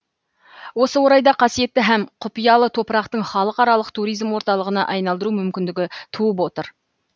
осы орайда қасиетті һәм құпиялы топырақтың халықаралық туризм орталығына айналдыру мүмкіндігі туып отыр